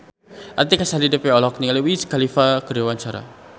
Artika Sari Devi olohok ningali Wiz Khalifa keur diwawancara